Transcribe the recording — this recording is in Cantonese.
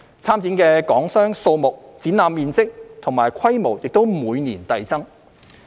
參展的港商數目、展覽面積和規模也每年遞增。